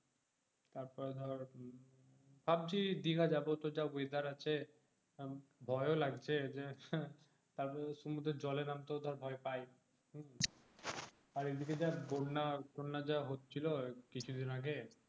ভাবছি দীঘা যাবো তো যা weather আছে ভয় ও লাগছে যে তারমধ্যে সমুদ্রে জলে নামতে ভয়ও পাই আর এইদিকে বন্যা টন্না যা হচ্ছিলো কিছুদিন আগে